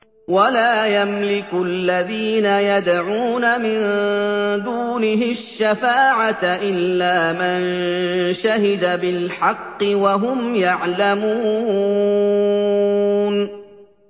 وَلَا يَمْلِكُ الَّذِينَ يَدْعُونَ مِن دُونِهِ الشَّفَاعَةَ إِلَّا مَن شَهِدَ بِالْحَقِّ وَهُمْ يَعْلَمُونَ